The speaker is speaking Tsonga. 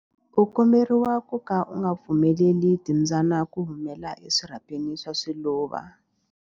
U komberiwa ku ka u nga pfumeleli timbyana ku humela eswirhapeni swa swiluva.